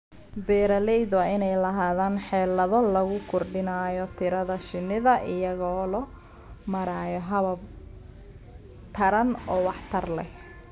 Beeralayda waa inay lahaadaan xeelado lagu kordhinayo tirada shinnida iyadoo loo marayo habab taran oo waxtar leh.